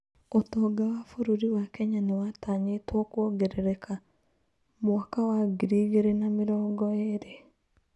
Ũtonga wa bũrũri wa Kenya nĩ watanyitwo kwongerereka mwaka wa ngiri igĩrĩ na mĩrongo ĩĩrĩ.